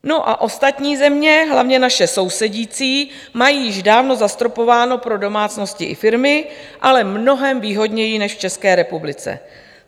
No a ostatní země, hlavně naše sousedící, mají již dávno zastropováno pro domácnosti i firmy, ale mnohem výhodněji než v České republice.